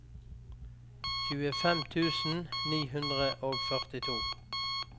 tjuefem tusen ni hundre og førtito